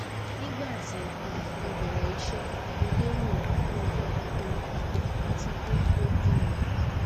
nigbati um mo bẹrẹ iṣẹ mo lero afẹfẹ kukuru pupọ ati pe o o dun